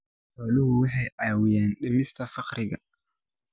Xooluhu waxay caawiyaan dhimista faqriga.